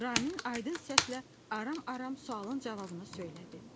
Ramin aydın səslə aram-aram sualın cavabını söylədi: